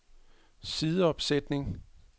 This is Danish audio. sideopsætning